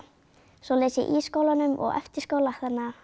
svo les ég í skólanum og eftir skóla þannig að